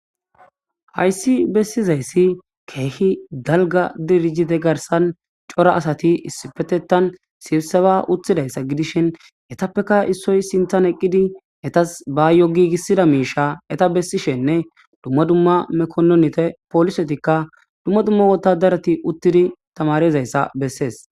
Haysi besizaysi keeh dalga dirjite garsani cora asati issipetetan sibiseba utidaysa gidishn etappeka issoy sintani eqidi etasi bayo giigisida miisha eta besishenne dumma dumma mekonente polisetika dumma dumma wotadarati utidi tamarizaysa beses.